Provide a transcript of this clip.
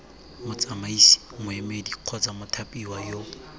motsamaisi moemedi kgotsa mothapiwa yo